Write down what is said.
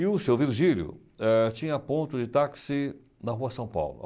E o seu Virgílio eh tinha ponto de táxi na Rua São Paulo.